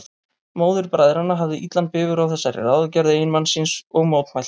Móðir bræðranna hafði illan bifur á þessari ráðagerð eiginmanns síns og mótmælti.